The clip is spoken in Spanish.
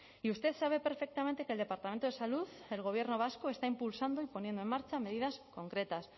y usted sabe perfectamente que el departamento de salud el gobierno vasco está impulsando y poniendo en marcha medidas concretas